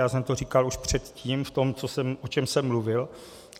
Já jsem to říkal už předtím v tom, o čem jsem mluvil.